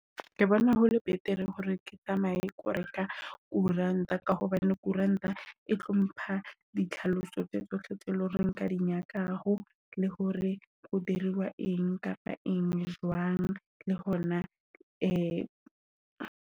Ke bona hole betere hore ke tsamaye ko reka koerant ka hobane koerant e tlo mpha ditlhaloso tsa tsohle tse leng hore nka di nyakakgo le hore ho dira wa eng kapa eng, jwang le hona .